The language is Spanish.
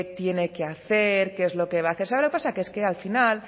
tiene que hacer qué es lo va a hacer sabe lo que pasa que es que al final